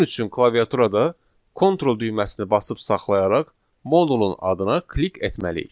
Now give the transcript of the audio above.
Bunun üçün klaviaturada kontrol düyməsini basıb saxlayaraq modulun adına klik etməliyik.